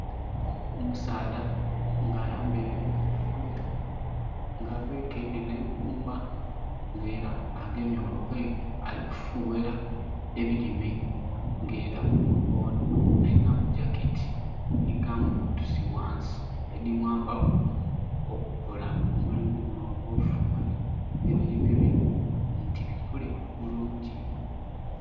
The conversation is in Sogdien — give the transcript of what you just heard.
Omusaadha nga ayambaire enkoofira, nga abekeile nh'eibumba, nga era agemye olu pipe ali kufughera ebilime. Nga era onho alinamu jacket nhi gumboots ghansi, edhi mwambaku okukola omulimu gunho ogw'ofughera ebilime bye nti bikule bulungi.